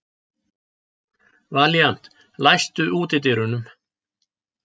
Valíant, læstu útidyrunum.